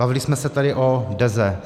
Bavili jsme se tady o Deze.